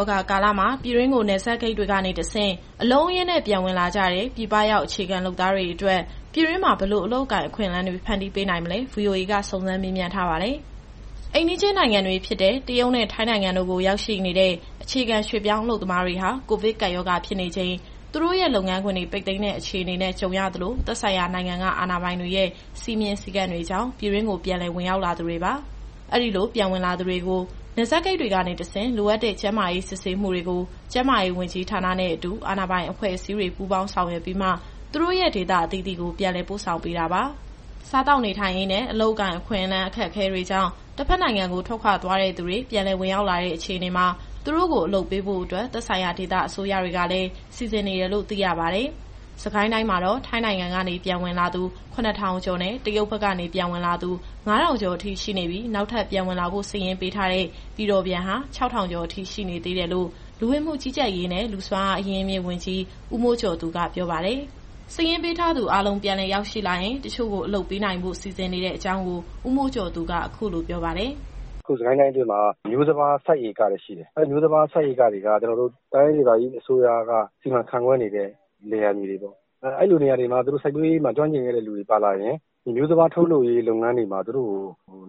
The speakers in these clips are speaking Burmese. ောဂါကာလမှာ ပြည်တွင်းကို နယ်စပ်ဂိတ်တွေကနေတဆင့် အလုံးအရင်းနဲ့ ပြန်ဝင်လာကြတဲ့ ပြည်ပရောက်အခြေခံလုပ်သားတွေအတွက် ပြည်တွင်းမှာ ဘယ်လိုအလုပ်အကိုင်တွေဖန်တီးပေးနိုင်မလဲ VOA က စုံစမ်းမေးမြန်းထားပါတယ်။ ဒီအကြောင်း ဗွီအိုအေမြန်မာပိုင်း သတင်းထောက် မစုစုက တင်ဆက်ပေးထားပါတယ်။ အိမ်နီးချင်းနိုင်ငံတွေဖြစ်တဲ့ တရုတ်နဲ့ ထိုင်းနိုင်ငံတို့ကို ရောက်ရှိနေတဲ့ အခြေခံရွှေ့ပြောင်းအလုပ်သမားတွေဟာ ကိုဗစ်ကပ်ရောဂါဖြစ်နေချိန် သူတို့ရဲ့လုပ်ငန်းခွင်တွေ ပိတ်သိမ်းတဲ့အခြေအနေနဲ့ ကြုံရသလို၊ သက်ဆိုင်ရာနိုင်ငံကအာဏာပိုင်တွေရဲ့စည်းမျဉ်းစည်းကမ်းတွေကြောင့် ပြည်တွင်းကို ပြန်လည်ဝင်ရောက်လာသူတွေပါ။ အဲဒီလိုပြန်ဝင်လာသူတွေကို နယ်စပ်ဂိတ်တွေကနေတဆင့် လိုအပ်တဲ့ ကျန်းမာရေးစစ်ဆေးမှုတွေကို ကျန်းမာရေးဝန်ကြီးဌာနနဲ့အတူ အာဏာပိုင်အဖွဲ့အစည်းတွေ ပူးပေါင်းဆောင်ရွက်ပြီးမှ သူတို့ရဲ့ဒေသအသီးသီးကို ပြန်လည်ပို့ဆောင်ပေးတာပါ။ စားသောက်နေထိုင်ရေးနဲ့ အလုပ်အကိုင်အခွင့်အလမ်း အခက်အခဲတွေကြောင့် တဘက်နိုင်ငံကို ထွက်ခွာသွားတဲ့သူတွေ ပြန်လည်ဝင်ရောက်လာတဲ့အခြေအနေမှာ သူတို့ကို အလုပ်ပေးဖို့အတွက် သက်ဆိုင်ရာဒေသအစိုးရတွေကလည်း စီစဉ်နေတယ်လို့ သိရပါတယ်။ စစ်ကိုင်းတိုင်းမှာတော့ ထိုင်းနိုင်ငံကနေ ပြန်ဝင်လာသူ ၇,၀၀၀ ကျော်နဲ့ တရုတ်ဘက်ကနေဝင်လာသူ ၅,၀၀၀ ကျော်အထိ ရှိနေပြီး နောက်ထပ်ပြန်ဝင်လာဖို့ စာရင်းပေးထားတဲ့ ပြည်တော်ပြန်ဟာ ၆,၀၀၀ ကျော်အထိ ကျန်နေသေးတယ်လို့ လူဝင်မှုကြီးကြပ်ရေးနဲ့ လူ့စွမ်းအားအရင်းအမြစ်ဝန်ကြီး ဦးမိုးကျော်သူက ပြောပါတယ်။ စာရင်းပေးထားသူတွေအားလုံး ပြန်လည်ရောက်ရှိလာရင် တချို့ကို အလုပ်ပေးနိုင်ဖို့ စီစဉ်နေတဲ့အကြောင်းကို ဦးမိုးကျော်သူက အခုလိုပြောပါတယ်။ “အခု စစ်ကိုင်းတိုင်းအတွင်းမှာ မျိုးစပါးစိုက်ဧကတွေ ရှိတယ်။ အဲဒီမျိုးစပါးစိုက်ဧကတွေက ကျနော်တို့ တိုင်းဒေသကြီးအစိုးရက စီမံခန့်ခွဲနေတဲ့ လယ်ယာမြေတွေပေါ့။ အဲလိုနေရာတွေမှာ သူတို့စိုက်ပျိုးရေးမှာ ကျွမ်းကျင်ခဲ့တဲ့သူတွေပါလာရင် ဒီမျိုးစပါးထုတ်လုပ်ရေးလုပ်ငန်းတွေမှာ သူတို့ကို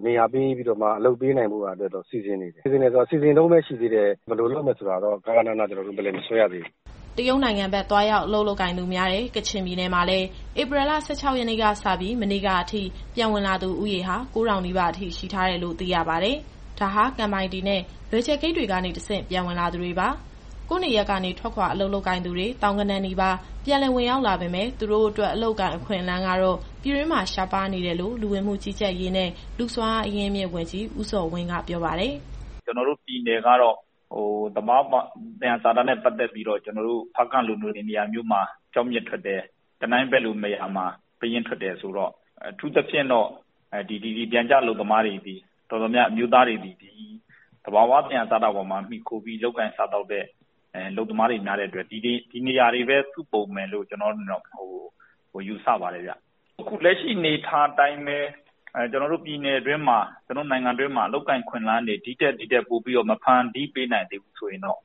နေရာပေးပြီးတော့ အလုပ်ပေးနိုင်ဖို့ စီစဉ်နေတယ်။ စီစဉ်တယ်ဆိုတာ စီစဉ်တုန်းပဲရှိသေးတယ်။ ဘယ်လိုလုပ်မယ်ဆိုတာကိုတော့ ကဃနဏ ကျနော်တို့ Plan မဆွဲရသေးဘူး။” တရုတ်နိုင်ငံဘက် သွားရောက်အလုပ်လုပ်ကိုင်သူများတဲ့ ကချင်ပြည်နယ်မှာလည်း ဧပြီလ ၁၆ ရက်နေ့ကစပြီး မနေ့ကအထိ ပြန်ဝင်လာသူဦးရေဟာ ၉,၀၀၀ နီးပါးရှိထားတယ်လို့ သိရပါတယ်။ ဒါက ကန်ပိုက်တီနဲ့ လွယ်ဂျယ်ဂိတ်တွေကနေ တဆင့် ပြန်ဝင်လာသူတွေပါ။ ကိုယ့်နေရပ်ကနေ ထွက်ခွာအလုပ်လုပ်ကိုင်သူ သောင်းဂဏန်းနီးပါး ပြန်လည်ဝင်ရောက်လာပေမယ့် သူတို့အတွက် အလုပ်အကိုင်အခွင့်အလမ်းကတော့ ပြည်တွင်းမှာ ရှားပါနေတယ်လို့ လူဝင်မှုကြီးကြပ်ရေးနဲ့ လူ့စွမ်းအားအရင်းအမြစ်ဝန်ကြီး ဦးဇော်ဝင်းက ပြောပါတယ်။ “ကျနော်တို့ပြည်နယ်ကတော့ သဘာဝ သယံဇာတနဲ့ပတ်သက်ပြီးတော့ ဖားကန့်လိုနေရာမျိုးမှာ ကျောက်မျက်ထွက်တယ်။ တနိုင်းဘက်လိုနေရာမှာ ပယင်းထွက်တယ်ဆိုတော့ အထူးသဖြင့် ဒီပျံကျအလုပ်သမားတော်တော်များများသည် သဘာဝ သယံဇာတပေါ်မှာ မှီခိုပြီးလုပ်ကိုင်စားသောက်တဲ့ အလုပ်သမားတွေများတဲ့အတွက် ဒီနေရာတွေပဲစုပုံမယ်လို့ ကျနော့်အနေနဲ့တော့ ယူဆပါတယ်ဗျ။ အခုလက်ရှိအနေအထားအတိုင်းပဲ ကျနော်တို့ပြည်နယ်အတွင်းမှာ ကျနော်တို့နိုင်ငံအတွင်းမှာ အလုပ်အကိုင်အခွင့်အလမ်းတွေ ဒီထက်ပိုပြီး မဖန်တီးပေးနိုင်သေးဘူးဆိုရင်တော့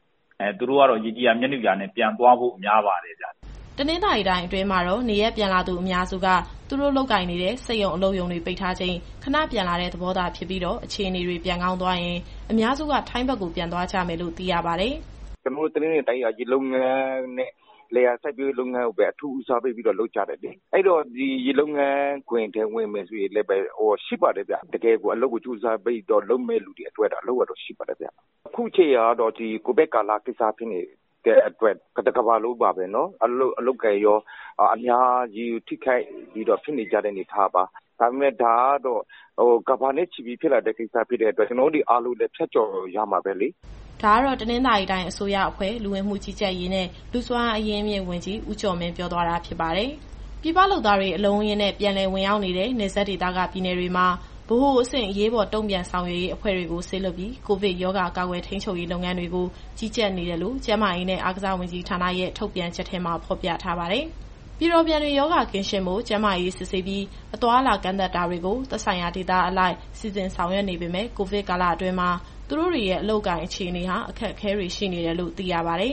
သူတို့ကတော့ရေကြည်ရာ မြက်နုရာ ပြန်သွားဖို့များပါတယ်ဗျ။” တနင်္သာရီတိုင်းအတွင်းမှာတော့ နေရပ်ပြန်လာသူအများစုက သူတို့လုပ်ကိုင်နေတဲ့ စက်ရုံအလုပ်ရုံတွေပိတ်ထားချိန် ခဏပြန်လာတဲ့သဘောသာဖြစ်ပြီးတော့ အခြေအနေတွေပြန်ကောင်းသွားရင် အများစုက ထိုင်းဘက်ကို ပြန်သွားကြမယ်လို့ သိရပါတယ်။ “ကျနော်တို့တနင်္သာရီတိုင်းက ရေလုပ်ငန်းနဲ့ လယ်ယာစိုက်ပျိုးရေးလုပ်ငန်းကိုပဲ အထူးဦးစားပေးပြီးတော့ လုပ်ကြတယ်လေ။ အဲတော့ ရေလုပ်ငန်းခွင်ထဲဝင်မယ်ဆိုရင်လည်း ရှိပါတယ်ဗျ။ တကယ့်ကိုအလုပ်ကြိုးစားပြီး လုပ်မယ့်သူတွေအတွက်တော့ အလုပ်ကတော့ရှိပါတယ်ဗျ။ အခုချိန်ကတော့ ကိုဗစ်ကာလဖြစ်နေတဲ့အတွက် တကမ္ဘာလုံးမှာ အလုပ်အကိုင်ရော အများကြီးထိခိုက်နေတဲ့ အနေအထားပါ။ ဒါပေမဲ့ ဒါက ကမ္ဘာနဲ့ချီပြီးဖြစ်လာတဲ့ကိစ္စဖြစ်တဲ့အတွက် ကျနော်တို့အားလုံးလည်း ဖြတ်ကျော်ရမှာပဲလေ။” ဒါကတော့ တနင်္သာရီတိုင်းအစိုးရအဖွဲ့၊ လူဝင်မှုကြီးကြပ်ရေးနဲ့ လူ့စွမ်းအားအရင်းအမြစ်ဝန်ကြီး ဦးကျော်မင်းပြောသွားတာ ဖြစ်ပါတယ်။ ပြည်ပလုပ်သားတွေ အလုံးအရင်းနဲ့ ပြန်လည်ဝင်ရောက်နေတဲ့ နယ်စပ်ဒေသက ပြည်နယ်တွေမှာ ဗဟိုအဆင့်အရေးပေါ် တုံ့ပြန်ဆောင်ရွက်ရေးအဖွဲ့တွေကို စေလွှတ်ပြီး ကိုဗစ်ရောဂါကာကွယ်ထိန်းချုပ်ရေး လုပ်ငန်းတွေကို ကြီးကြပ်နေတယ်လို့ ကျန်းမာရေးနဲ့ အားကစားဝန်ကြီးဌာနရဲ့ ထုတ်ပြန်ချက်ထဲမှာ ဖော်ပြထားပါတယ်။ ပြည်တော်ပြန်တွေ ရောဂါကင်းရှင်းဖို့ ကျန်းမာရေးစစ်ဆေးပြီး အသွားအလာကန့်သတ်တာတွေကို သက်ဆိုင်ရာဒေသအလိုက် စီစဉ်ဆောင်ရွက်နေပေမယ့် ကိုဗစ်ကာလအတွင်း သူတို့တွေရဲ့ အလုပ်အကိုင်အခြေအနေဟာ အခက်အခဲတွေရှိနေတယ်လို့ သိရပါတယ်